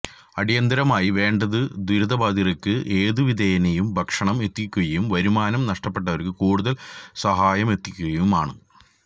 അടിയന്തിരമായി വേണ്ടത് ദുരിതബാധിതര്ക്ക് ഏതുവിധേനയും ഭക്ഷണം എത്തിക്കുകയും വരുമാനം നഷ്ടപ്പെട്ടവര്ക്ക് കൂടുതല് സഹായമെത്തിക്കുകയുമാണ്